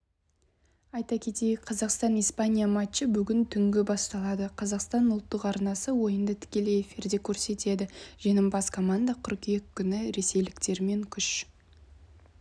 айта кетейік қазақстан испания матчы бүгін түнгі басталады қазақстан ұлттық арнасы ойынды тікелей эфирде көрсетеді жеңімпаз команда қыркүйек күні ресейліктермен күш